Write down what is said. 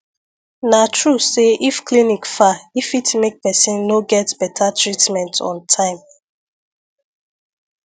na true say if clinic far e fit make person no get better treatment on time